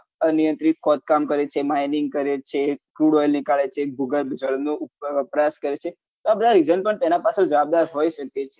અનિયંત્રિત ખોદકામ કરે છે mining કરે છે crude oil નીકાળે છે ભૂગર્ભ જળ નું વપરાશ કરે છે આ બધા reason પણ તેના પાછલ જવાબદાર હોઈ શકે છે